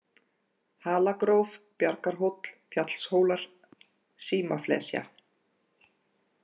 Halagróf, Bjargarhóll, Fjallshólar, Símaflesja